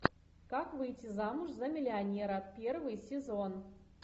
как выйти замуж за миллионера первый сезон